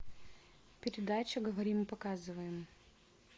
передача говорим и показываем